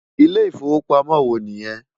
Ilé Ifówópámò wò ni yèn?